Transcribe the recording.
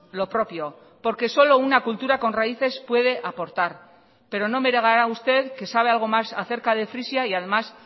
lo propio porque solo una cultura con raíces puede aportar pero no me negará usted que sabe algo más acerca de frisia y además